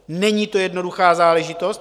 Není to jednoduchá záležitost.